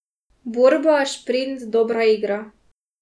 Borba, šprint, dobra igra.